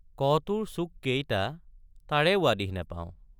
ক টোৰ চুককেইটা তাৰে— উৱাদিহ নাপাওঁ।